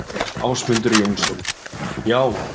Ásmundur Jónsson: Já.